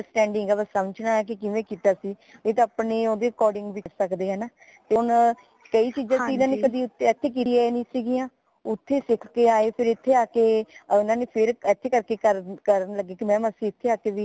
understanding ਹੈ ਕਿ ਸਮਝਣਾ ਹੈ ਕਿ ਕਿਵੇਂ ਕੀਤਾ ਸੀ ਨੀ ਤੇ ਆਪਣੇ according ਵੀ ਕਰ ਸਕਦੇ ਹੈ ਹੈ ਨਾ ਹੁਣ ਕਈ ਚੀਜ਼ਾਂ ਸੀ ਇਥੇ ਕਰਿਆ ਹੀ ਨੀ ਸਿਗਿਆ ਓਥੋਂ ਸਿੱਖ ਕੇ ਆਏ ਫੇਰ ਏਥੇ ਆਕੇ ਓਨਾ ਨੇ ਇਸੇ ਕਰਕੇ ਕਰਨ ਲਗੇ ਕੀ mam ਅਸੀਂ ਏਥੇ ਆਕੇ ਵੀ